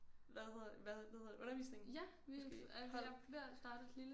Hvad hedder hvad hvad hedder det undervisning måske hold